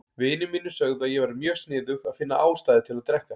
Vinir mínir sögðu að ég væri mjög sniðug að finna ástæðu til að drekka.